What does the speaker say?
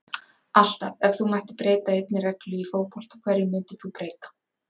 alltaf Ef þú mættir breyta einni reglu í fótbolta, hverju myndir þú breyta?